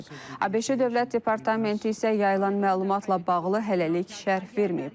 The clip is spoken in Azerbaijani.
ABŞ Dövlət Departamenti isə yayılan məlumatla bağlı hələlik şərh verməyib.